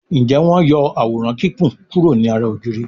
Njé wón yó Àwòrán Kíkún kuro ní àrà ògiri?